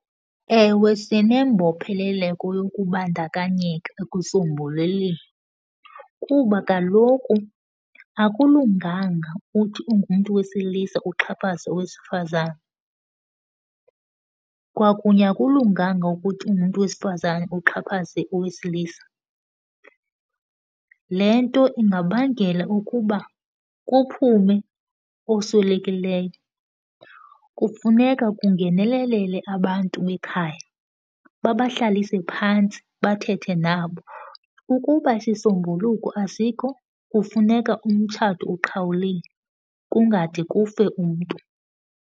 Ewe sinembopheleleko yokubandakanyeka ekusombululeni kuba kaloku akulunganga uthi ungumntu wesilisa uxhaphaze umntu owesifazane. Kwakunye, akulunganga ukuthi ungumntu wesifazane uxhaphaze owesilisa. Le nto ingabangela ukuba kuphume oswelekileyo. Kufuneka kungenelelele abantu bekhaya, babahlalise phantsi, bathethe nabo. Ukuba isisombululo asikho, kufuneka umtshato uqhawuliwe, kungade kufe umntu.